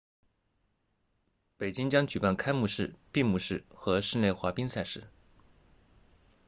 北京将举办开幕式闭幕式和室内滑冰赛事